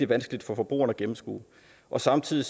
vanskelig for forbrugeren at gennemskue og samtidig